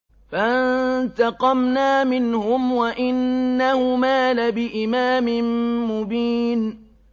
فَانتَقَمْنَا مِنْهُمْ وَإِنَّهُمَا لَبِإِمَامٍ مُّبِينٍ